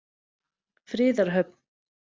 Friðarhöfn